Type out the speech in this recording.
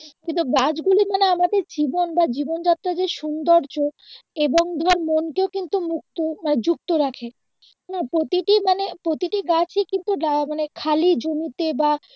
কিন্তু গাছগুলো মানে আমাদের জীবন বা জীবন যাত্রার যে সৌন্দর্য এবং ধর মনকেও কিন্তু মুক্ত মানি যুক্ত রাখে । না প্রতিটি মানে প্রতিটি গাছই কিন্তু খালি জমিতে বা